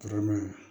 Karama